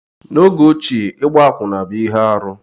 N'oge ochie, ịgba akwụna bụ ihe arụ